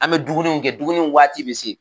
An be dumuniw kɛ dumuniw waati bi se.